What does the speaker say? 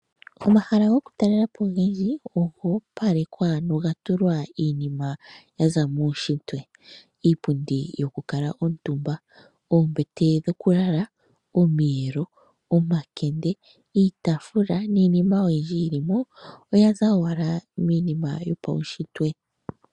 Omahala gokutalelapo ogendji ogoopalekwa nogatulwa iinima yaza muushitwe iipundi yo kala omutumba, iitafula, oombete dhokulala, omiyelo noyindji yilimo oyaza owala miinima yopaushitwe.